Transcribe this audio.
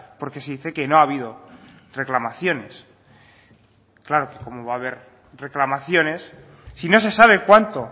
porque se dice que no ha habido reclamaciones claro cómo va a haber reclamaciones si no se sabe cuánto